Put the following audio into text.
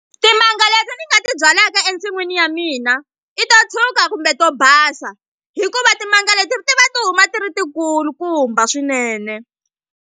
Timanga leti ni nga ti byalaka ensin'wini ya mina i to tshuka kumbe to basa hikuva timanga leti ti va ti huma ti ri ti kulukumba swinene.